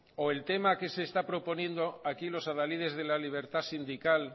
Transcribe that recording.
o el tema que se está proponiendo aquí los adalides de la libertad sindical